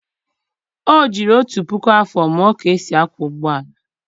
o jiri otu puku afọ mụọ ka e si akwọ ụgbọ ala